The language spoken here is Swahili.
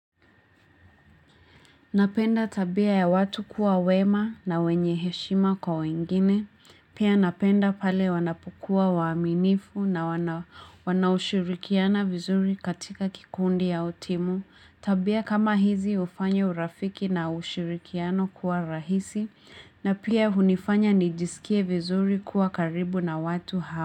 Napenda tabia ya watu kuwa wema na wenye heshima kwa wengine, pia napenda pale wanapokuwa waaminifu na wana wanaoshirikiana vizuri katika kikundi au timu, tabia kama hizi hufanya urafiki na ushirikiano kuwa rahisi, na pia hunifanya nijisikie vizuri kuwa karibu na watu ha.